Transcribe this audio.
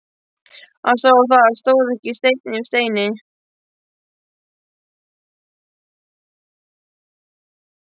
Hann sá að það stóð ekki steinn yfir steini.